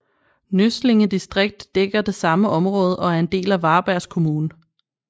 Nøsslinge distrikt dækker det samme område og er en del af Varbergs kommun